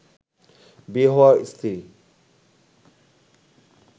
বিয়ে হওয়া স্ত্রীর